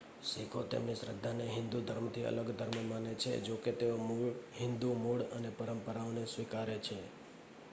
શીખો તેમની શ્રદ્ધાને હિંદુ ધર્મથી અલગ ધર્મ માને છે જોકે તેઓ હિંદુ મૂળ અને પરંપરાઓને સ્વીકારે છે